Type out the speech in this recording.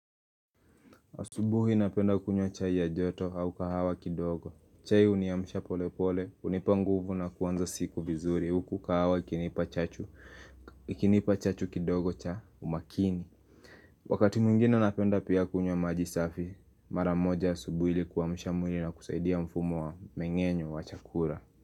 Asubuhi napenda kunywa chai ya joto au kahawa kidogo. Chai uniamsha pole pole, unipa nguvu na kuanza siku vizuri, huku kahawa ikinipa chachu kidogo cha umakini. Wakati mwingine napenda pia kunywa majisafi, maramoja asubuhi ili kuamisha mwili na kusaidia mfumo wa mengenyo wa chakula.